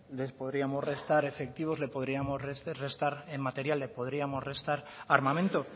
les podríamos restas efectivos le podríamos restar en materiales podríamos restar armamento